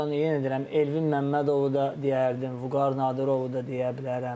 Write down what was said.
Yenə deyirəm Elvin Məmmədovu da deyərdim, Vüqar Nadirovu da deyə bilərəm.